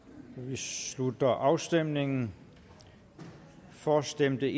slutter afstemningen for stemte